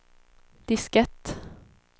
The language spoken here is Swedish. diskett